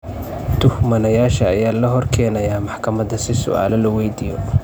Tuhmanayaasha ayaa la horkeenayaa maxkamada si su'aalo loo weydiiyo.